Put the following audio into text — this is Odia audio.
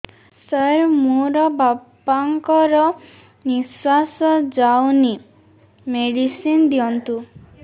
ସାର ମୋର ବାପା ଙ୍କର ନିଃଶ୍ବାସ ଯାଉନି ମେଡିସିନ ଦିଅନ୍ତୁ